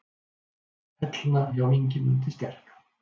Hellna hjá Ingimundi sterka.